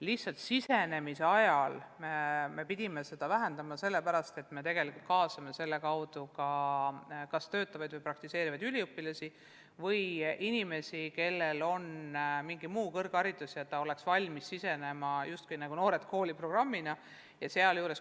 Lihtsalt programmi alguse ajal me pidime seda vähendama sellepärast, et me kaasame selle kaudu ka üliõpilasi ja inimesi, kellel on mingi muu kõrgharidus, aga nad oleks valmis nagu "Noored kooli" programmi raames õpetajaks tulema.